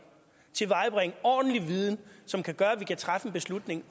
tilvejebringe ordentlig viden som kan gøre at vi kan træffe en beslutning